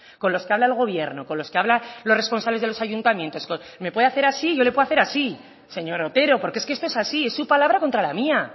con los que habla el gobierno con los que habla los responsables de los ayuntamientos me puede hacer así y yo le puedo hacer así señor otero porque es que esto es así es su palabra contra la mía